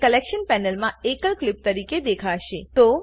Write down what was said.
તે કલેક્શન પેનલમાં એકલ ક્લીપ તરીકે દેખાશે